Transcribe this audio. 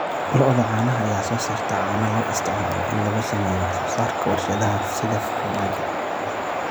Lo'da caanaha ayaa soo saarta caano loo isticmaalo in lagu sameeyo wax soo saarka warshadaha sida farmaajo.